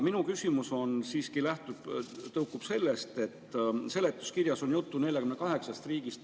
Minu küsimus siiski tõukub sellest, et seletuskirjas on juttu 48 riigist.